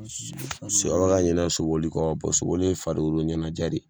Se wɔrɔ ka ɲinɛ soboli kɔ bɔ soboli ye farikolo ɲɛnɛjɛ de ye